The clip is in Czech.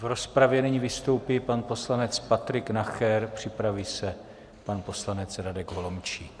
V rozpravě nyní vystoupí pan poslanec Patrik Nacher, připraví se pan poslanec Radek Holomčík.